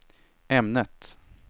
ämnet